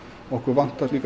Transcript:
okkur vantar